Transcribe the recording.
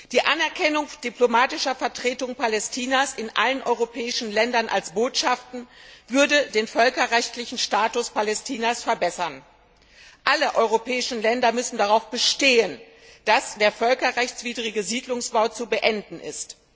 Die Anerkennung diplomatischer Vertretungen Palästinas in allen europäischen Ländern als Botschaften würde den völkerrechtlichen Status Palästinas verbessern. Alle europäischen Länder müssen darauf bestehen, dass der völkerrechtswidrige Siedlungsbau zu beenden ist.